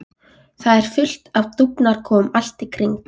Það er fullt af dúfnakofum allt í kring.